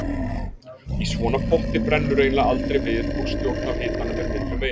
Í svona potti brennur eiginlega aldrei við og stjórn á hitanum er miklu meiri.